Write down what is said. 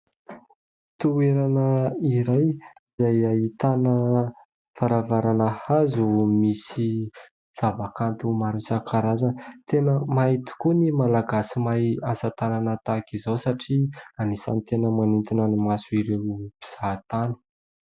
Toerana iray izay ahitana varavarana hazo misy zavakanto maro isankarazany. Tena mahay tokoa ny Malagasy mahay asatanana tahaka izao, satria anisan'ny tena manintona ny mason' ireo mpizahatany.